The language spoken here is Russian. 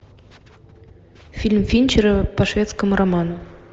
фильм финчера по шведскому роману